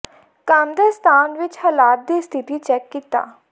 ਕੰਮ ਦੇ ਸਥਾਨ ਵਿਚ ਹਾਲਾਤ ਦੀ ਸਥਿਤੀ ਚੈੱਕ ਕੀਤਾ